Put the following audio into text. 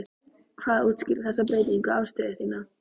Hvað útskýrir þessa breyttu afstöðu þína?